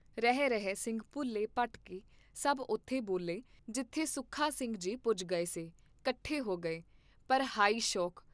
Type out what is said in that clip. ਰਹੇ ਰਹੇ ਸਿੰਘ ਭੁੱਲੇ ਭਟਕੇ ਸਭ ਉਥੇ ਬੋਲੇ ਵਿਚ ਕੀ ਜਿਥੇ ਸੁਖਾ ਸਿੰਘ ਜੀ ਪੁਜ ਗਏ ਸੇ, ਕੱਠੇ ਹੋ ਗਏ, ਪਰ ਹਾਇ ਸ਼ੋਕ!